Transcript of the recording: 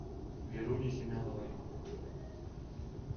веруне семеновой